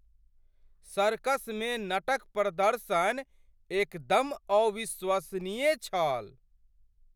सर्कसमे नट क प्रदर्शन एकदम अविश्वसनीय छल !